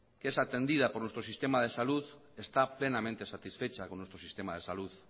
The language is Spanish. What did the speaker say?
que es atendida por nuestro sistema de salud está plenamente satisfecha con nuestro sistema de salud